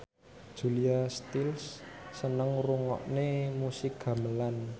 Julia Stiles seneng ngrungokne musik gamelan